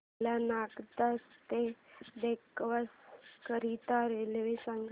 मला नागदा ते देवास करीता रेल्वे सांगा